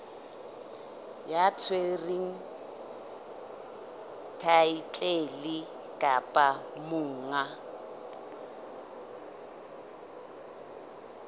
ya tshwereng thaetlele kapa monga